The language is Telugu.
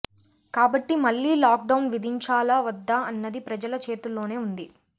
కాబట్టి మళ్లీ లాక్డౌన్ విధించాలా వద్దా అన్నది ప్రజల చేతుల్లోనే ఉంది